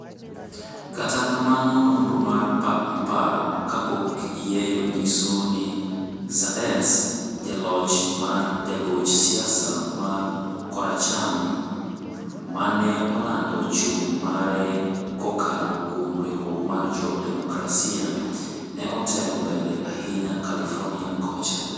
kata kamano nonro mar paro kapok yieyo nyiso ni Sanders, ja loch mar jagoch siasa mar koracham maneolando chung mare kokalo kuom riwruok mar jo Demokrasia, ne otelo mbele ahinya California kocha.